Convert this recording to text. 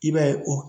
I b'a ye o